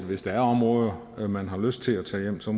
hvis der er områder man har lyst til at tage hjem så